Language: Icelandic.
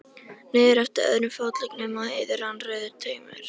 Niður eftir öðrum fótleggnum á Heiðu rann rauður taumur.